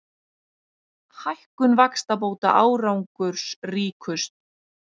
Hækkun vaxtabóta árangursríkust